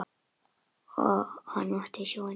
Og hann í sjóinn.